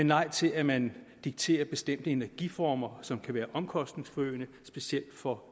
nej til at man dikterer bestemte energiformer som kan være omkostningsforøgende specielt for